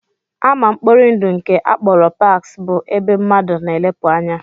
Ama mkpori ndụ nke a kpọrọ parks bụ ebe mmadụ na-elepụ anya